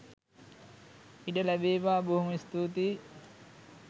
ඉඩ ලෑබේවා බොහොම ස්තුතියි.